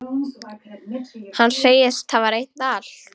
Hann segist hafa reynt allt.